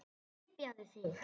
Hypjaðu þig.